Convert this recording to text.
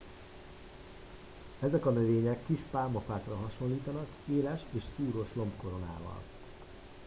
ezek a növények kis pálmafákra hasonlítanak éles és szúrós lombkoronával